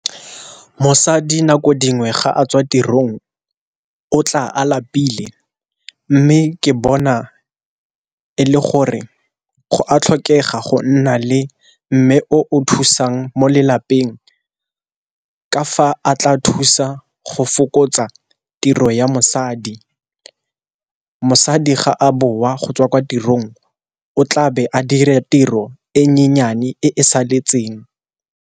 Mosadi nako dingwe ga a tswa tirong o tla a lapile, mme ke bona e le gore go a tlhokega go nna le mme o thusang mo lelapeng. Ka fa a tla thusa go fokotsa tiro ya mosadi. Mosadi ga a boa go tswa kwa tirong o tlabe a dira tiro e nyenyane e e saletseng.